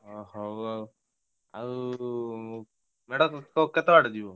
ହଉ ଆଉ ଆଉ ମେଢ କେତେ ବାଟ ଯିବ?